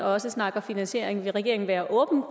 også snakker finansiering vil regeringen være åben